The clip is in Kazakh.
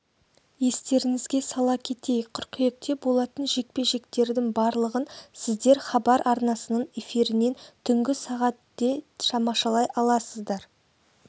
естеріңізге сала кетейік қыркүйекте болатын жекпе-жектердің барлығын сіздер хабар арнасының эфирінен түнгі сағат де тамашалай аласыздар